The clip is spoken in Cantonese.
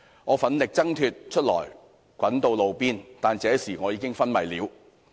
我奮力掙脫出來滾到路邊，但這時我已經昏迷了。